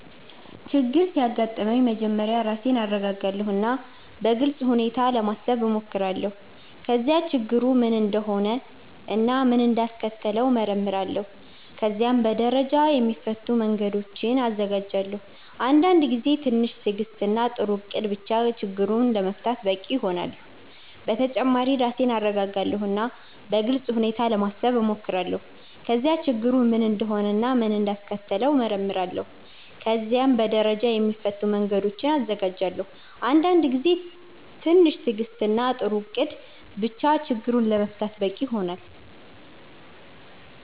ችግር ሲያጋጥመኝ መጀመሪያ ራሴን እረጋጋለሁ እና በግልጽ ሁኔታ ለማሰብ እሞክራለሁ። ከዚያ ችግሩ ምን እንደሆነ እና ምን እንዳስከተለው እመረምራለሁ። ከዚያም በደረጃ የሚፈቱ መንገዶችን እዘጋጃለሁ። አንዳንድ ጊዜ ትንሽ ትዕግስት እና ጥሩ እቅድ ብቻ ችግሩን ለመፍታት በቂ ይሆናል። በተጨማሪ ራሴን እረጋጋለሁ እና በግልጽ ሁኔታ ለማሰብ እሞክራለሁ። ከዚያ ችግሩ ምን እንደሆነ እና ምን እንዳስከተለው እመረምራለሁ። ከዚያም በደረጃ የሚፈቱ መንገዶችን እዘጋጃለሁ። አንዳንድ ጊዜ ትንሽ ትዕግስት እና ጥሩ እቅድ ብቻ ችግሩን ለመፍታት በቂ ይሆናል።